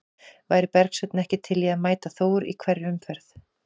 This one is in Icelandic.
Væri Bergsveinn ekki til í að mæta Þór í hverri umferð?